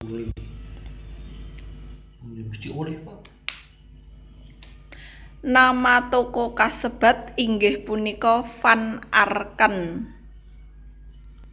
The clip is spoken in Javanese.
Nama toko kasebat inggih punika Van Arken